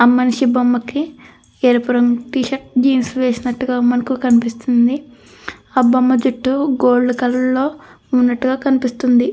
ఆ మనిషి బొమ్మకి ఎరుపు రంగు టీ షర్ట్ జీన్స్ వేసినట్టుగా మనకు కనిపిస్తుంది. ఆ బొమ్మ జుట్టు గోల్డ్ కలర్ లో ఉన్నట్టుగా కనిపిస్తుంది.